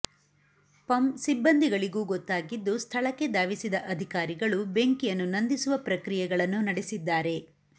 ಪಂ ಸಿಬ್ಬಂದಿಗಳಿಗೂ ಗೊತ್ತಾಗಿದ್ದು ಸ್ಥಳಕ್ಕೆ ಧಾವಿಸಿದ ಅಧಿಕಾರಿಗಳು ಬೆಂಕಿಯನ್ನು ನಂದಿಸುವ ಪ್ರಕ್ರಿಯೆಗಳನ್ನು ನಡೆಸಿದ್ದಾರೆ